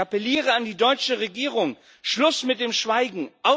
Ich appelliere an die deutsche Regierung Schluss mit dem Schweigen!